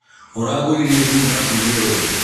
ũragúríre thímũ yaku njerũ rí?